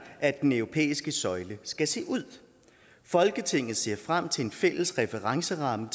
at den europæiske søjle skal se ud folketinget ser frem til en fælles referenceramme